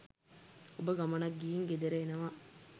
ඔබ ගමනක් ගිහින් ගෙදර එනවා